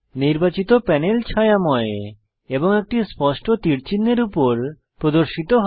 নির্বাচিত প্যানেল ছায়াময় এবং একটি স্পষ্ট তীর চিহ্ন এর উপর প্রদর্শিত হয়